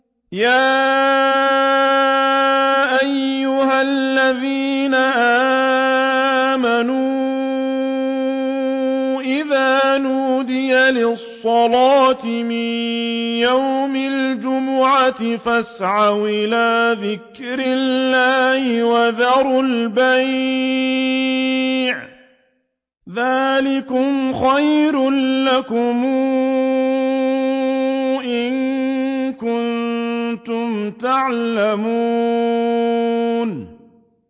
يَا أَيُّهَا الَّذِينَ آمَنُوا إِذَا نُودِيَ لِلصَّلَاةِ مِن يَوْمِ الْجُمُعَةِ فَاسْعَوْا إِلَىٰ ذِكْرِ اللَّهِ وَذَرُوا الْبَيْعَ ۚ ذَٰلِكُمْ خَيْرٌ لَّكُمْ إِن كُنتُمْ تَعْلَمُونَ